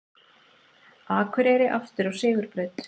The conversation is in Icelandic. Akureyri aftur á sigurbraut